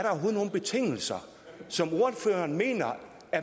betingelser som ordføreren mener